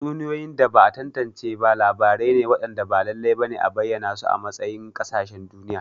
Tatsuniyoyi da ba'a tantance ba labarai ne waɗanda ba lallai ba ne a bayyana su a matsayin ƙasashen duniya.